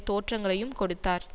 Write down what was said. தோற்றங்களையும் கொடுத்தார்